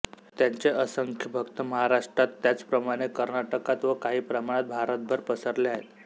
त्यांचे असंख्य भक्त महाराष्ट्रात त्याचप्रमाणे कर्नाटकात व काही प्रमाणात भारतभर पसरले आहेत